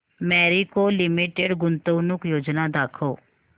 Marico limited गुंतवणूक योजना दाखव